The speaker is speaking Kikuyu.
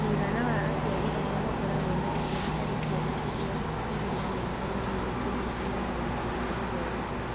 Mũigana wa aciari arĩa makoragwo na itemi harĩ ciana iria irĩ na mĩaka mĩnini kũhingia maũndũ ma gĩthomo.